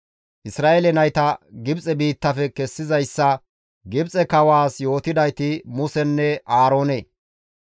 Isra7eele nayta Gibxe biittafe kessizayssa Gibxe kawaas yootidayti Musenne Aaroone.